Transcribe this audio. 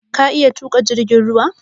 Ka iya tuƙa jirgin ruwa?